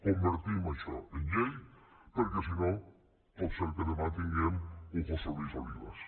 convertim això en llei perquè si no pot ser que demà tinguem un josé luis olivas